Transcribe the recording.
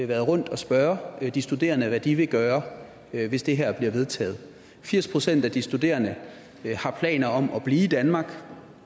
været rundt og spørge de studerende hvad de vil gøre hvis det her bliver vedtaget firs procent af de studerende har planer om at blive i danmark